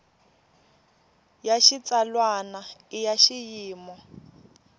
ya xitsalwana i ya xiyimo